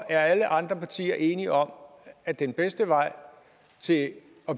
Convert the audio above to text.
er alle andre partier enige om at den bedste vej til at